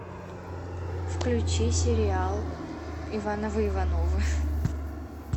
включи сериал ивановы ивановы